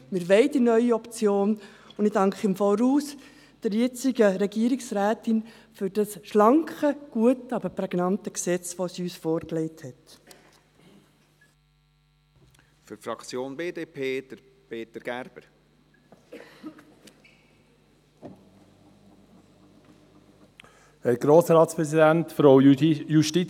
Wir wollen die neue Option, und ich danke der jetzigen Regierungsrätin im Voraus für dieses schlanke, gute aber prägnante Gesetz, das sie uns vorgelegt hat.